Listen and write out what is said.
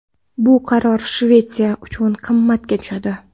Bu qaror Shvetsiya uchun qimmatga tushadi.